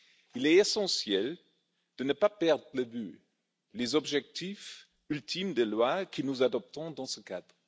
Il est essentiel de ne pas perdre de vue les objectifs ultimes des lois que nous adoptons dans ce cadre.